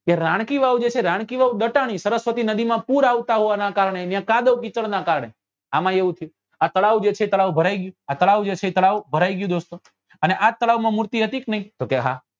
કે રાણકીવાવ જે છે એ રાણકીવાવ ડટાણી સરસ્વતી નદી માં પુર આવતા હોવા ના કારણે યા કાદવ કીચડ ના કારણે આમાં એ એવું થયું આ તળાવ ભરાઈ ગયું આ તળાવ જે છે એ ભરાઈ ગયું દોસ્તો અને આ જ તળાવ માં મૂર્તિ હતી કે નહિ તો કે હા